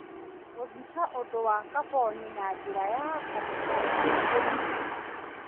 Gũthika ũndũ wa kaboni na njĩra ya kũbutha na ũhũthũ